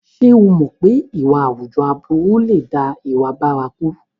Ṣé o mọ̀ pé ìwà àwùjọ aburú lè dá ìwà bárakú?